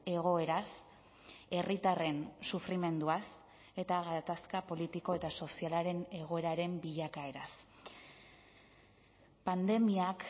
egoeraz herritarren sufrimenduaz eta gatazka politiko eta sozialaren egoeraren bilakaeraz pandemiak